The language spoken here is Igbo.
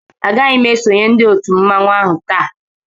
A gaghị ésonyé ndị òtù mmanwu áhù taa